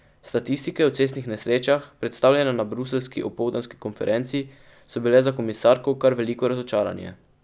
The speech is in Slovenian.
Statistike o cestnih nesrečah, predstavljene na bruseljski opoldanski konferenci, so bile za komisarko kar veliko razočaranje.